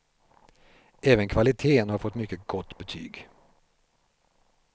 Även kvaliteten har fått mycket gott betyg.